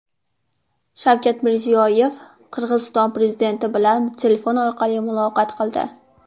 Shavkat Mirziyoyev Qirg‘iziston prezidenti bilan telefon orqali muloqot qildi.